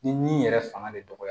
Ni ni yɛrɛ fanga de dɔgɔyara